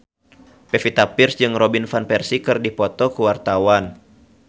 Pevita Pearce jeung Robin Van Persie keur dipoto ku wartawan